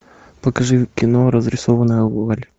покажи кино разрисованная вуаль